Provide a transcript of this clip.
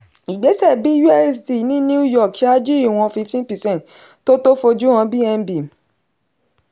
ìgbésẹ̀ busd ní new york ṣáájú ìwọ̀n fifty percent tó tó fojú han bnb